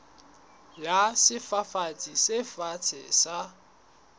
ya sefafatsi se fatshe sa